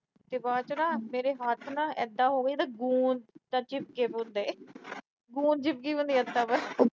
ਕਿ ਬਾਅਦ ਚ ਨਾ, ਮੇਰੇ ਹੱਥ ਇਦਾਂ ਹੋ ਗਏ ਜਿਵੇਂ ਗੂੰਦ ਦੇ ਚਿਪਕੇ ਵੇ ਹੁੰਦੇ। ਗੁੰਦ ਚਿਪਕੀ ਵੀ ਹੁੰਦੀ ਆ ਹੱਥਾਂ ਤੇ।